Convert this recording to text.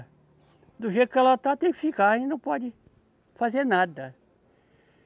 Do jeito que ela está, tem que ficar, aí não pode fazer nada.